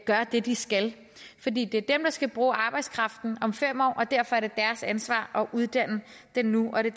gør det de skal fordi det er dem der skal bruge arbejdskraften om fem år og derfor er det deres ansvar at uddanne den nu og det